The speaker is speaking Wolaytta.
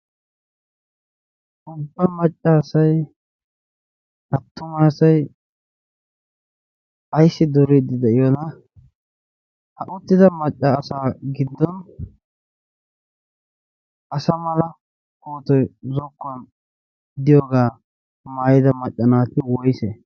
ubba macca asai attuma asai aissi duuriiddi de7iyoona? ha uttida maccaasaa giddon asa mala otoi zokkuwan diyoogaa maayida maccanaati woise?